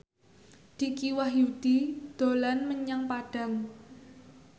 Dicky Wahyudi dolan menyang Padang